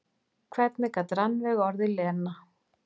Hvernig gat Rannveig orðið Lena?